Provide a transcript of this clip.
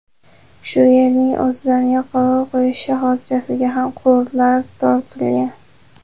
Shu yerning o‘zidan yoqilg‘i quyish shoxobchalariga ham quvurlar tortilgan.